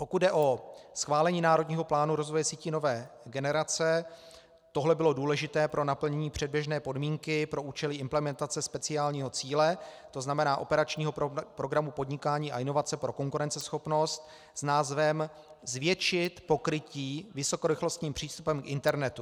Pokud jde o schválení národního plánu rozvoje sítí nové generace, tohle bylo důležité pro naplnění předběžné podmínky pro účely implementace speciálního cíle, to znamená operačního programu Podnikání a inovace pro konkurenceschopnost, s názvem zvětšit pokrytí vysokorychlostním přístupem k internetu.